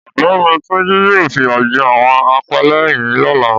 Ọ̀gbẹ́ni Túnjí yóò fìyà jẹ àwọn apẹ́lẹ́yìn lọ́la